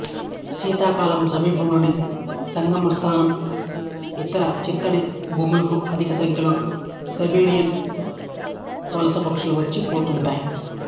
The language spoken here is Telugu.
శీతాకాలంలో సమీపంలోని సంగమ స్థానం ఇతర చిత్తడి భూములకు అధిక సంఖ్యలో సైబేరియన్ వలస పక్షులు వచ్చి పోతుంటాయి